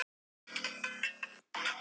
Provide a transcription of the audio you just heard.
Hún brosir til hennar þegar hún kemur inn.